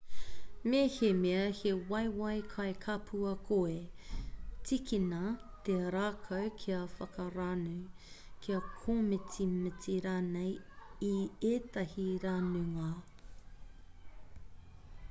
mehemea he waewae kai kapua koe tīkina te rākau kia whakaranu kia kōmitimiti rānei i ētahi ranunga